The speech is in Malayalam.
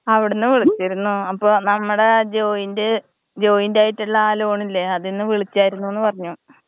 അവിടുന്ന് വിളിച്ചിരുന്നു. അപ്പൊ നമ്മടെ ജോയിന്റ് ജോയിന്റ് ആയിട്ട്ള്ള ആ ലോണില്ലെ അതിന്ന് വിളിച്ചായിരുന്നൂന്ന് പറഞ്ഞു.